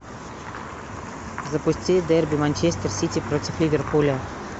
запусти дерби манчестер сити против ливерпуля